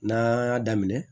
N'an y'a daminɛ